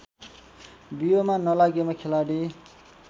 बियोमा नलागेमा खेलाडी